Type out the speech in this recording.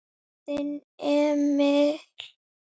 Þinn Emil.